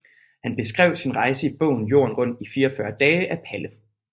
Han beskrev sin rejse i bogen Jorden rundt i 44 Dage af Palle